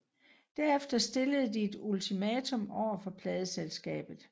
Derefter stillede de et ultimatum overfor pladeselskabet